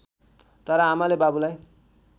तर आमाले बाबुलाई